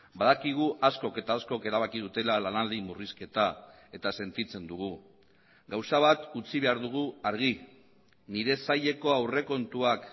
badakigu askok eta askok erabaki dutela lanaldi murrizketa eta sentitzen dugu gauza bat utzi behar dugu argi nire saileko aurrekontuak